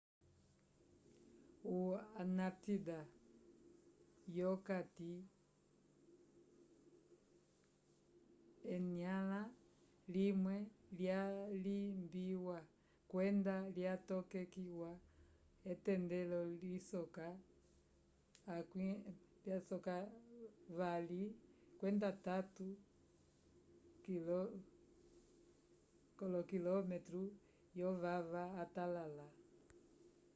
o antártida yokati enyãla limwe lyalimbiwa kwenda lyatokekiwa etendelo lisoka 2-3 km vyovava atalala